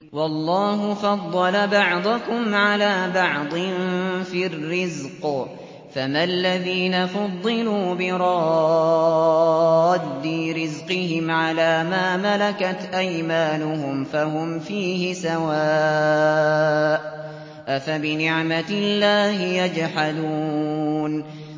وَاللَّهُ فَضَّلَ بَعْضَكُمْ عَلَىٰ بَعْضٍ فِي الرِّزْقِ ۚ فَمَا الَّذِينَ فُضِّلُوا بِرَادِّي رِزْقِهِمْ عَلَىٰ مَا مَلَكَتْ أَيْمَانُهُمْ فَهُمْ فِيهِ سَوَاءٌ ۚ أَفَبِنِعْمَةِ اللَّهِ يَجْحَدُونَ